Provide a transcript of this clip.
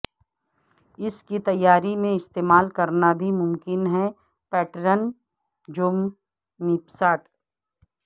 اس کی تیاری میں استعمال کرنا بھی ممکن ہے پیٹرن جومپساٹ